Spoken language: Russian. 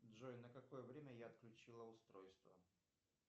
джой на какое время я отключила устройство